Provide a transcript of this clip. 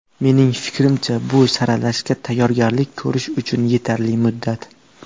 Mening fikrimcha, bu saralashga tayyorgarlik ko‘rish uchun yetarli muddat.